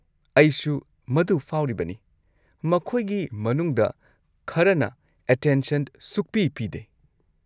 ꯑꯩꯁꯨ ꯃꯗꯨ ꯐꯥꯎꯔꯤꯕꯅꯤ, ꯃꯈꯣꯏꯒꯤ ꯃꯅꯨꯡꯗ ꯈꯔꯅ ꯑꯦꯇꯦꯟꯁꯟ ꯁꯨꯛꯄꯤ ꯄꯤꯗꯦ꯫